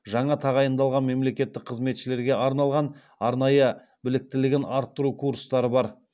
жаңа тағайындалған мемлекеттік қызметшілерге арналған арнайы біліктілігін арттыру курстары бар